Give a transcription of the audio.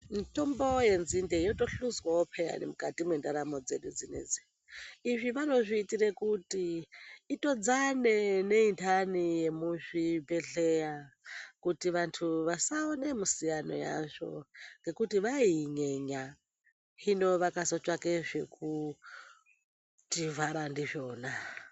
Mitombo yenzimde yotohluzwawo peyani mukati mwendaramo dzedu dzinedzi, izvi vanozviitire kuti itodzane neindani yemuzvibhedhlera kuti vantu vasaone musiyano yazvo ngekuti vaiyinyenya hino vakazotsvake zvekutivhara ndizvona.